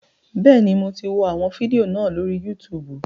Bẹ́ẹ̀ni, mo ti wọ àwọn fídíò náà lórí Yútùùbù